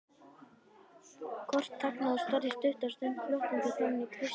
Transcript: Kort þagnaði og starði stutta stund glottandi framan í Christian.